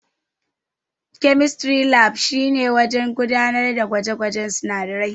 Chemistry Lab shine wurin gudanar da gwaje-gwajen sunadarai.